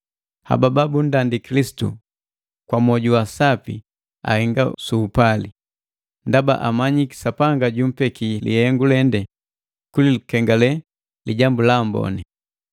Haba babundandi Kilisitu kwa moju wa asapi ahenga su upali, ndaba amanyiki Sapanga jumbeki lihengu lende kulikengale Lijambu la Amboni.